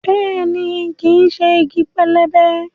Bẹ́ẹ̀ni, kìí ṣe igi pẹlẹbẹ